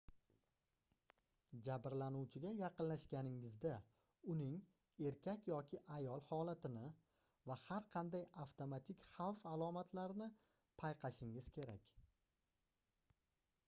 jabrlanuvchiga yaqinlashganingizda uning erkak yoki ayol holatini va har qanday avtomatik xavf alomatlarini payqashingiz kerak